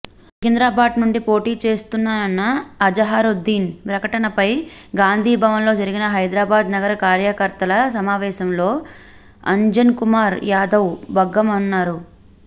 సికింద్రాబాద్ నుండి పోటీ చేస్తానన్న అజహరుద్దీన్ ప్రకటనపై గాంధీభవన్లో జరిగిన హైదరాబాద్ నగర కార్యకర్తల సమావేశంలో అంజన్కుమార్ యాదవ్ భగ్గుమన్నారు